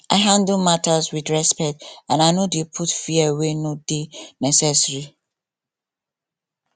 i dey handle matter with respect and i no dey put fear wey no dey necessary